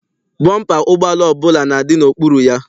Bọmpa ụgbọala ọbụla na-adị n'okpuru ya.